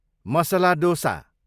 masala dosa